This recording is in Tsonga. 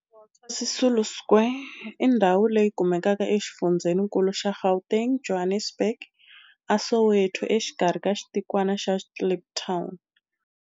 Walter Sisulu Square i ndhawu leyi kumekaka exifundzheninkulu xa Gauteng, Johannesburg, a Soweto, exikarhi ka xitikwana xa Kliptown.